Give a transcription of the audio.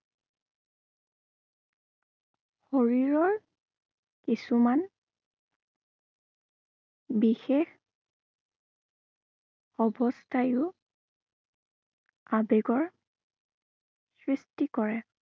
শৰীৰৰ কিছুমান বিশেষ অৱস্থাইও আবেগৰ সৃষ্টি কৰে।